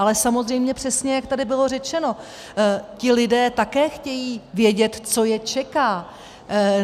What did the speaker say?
Ale samozřejmě přesně, jak tady bylo řečeno, ti lidé také chtějí vědět, co je čeká.